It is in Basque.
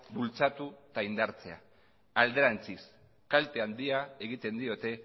bultzatu eta indartzea alderantziz kalte handia egiten diote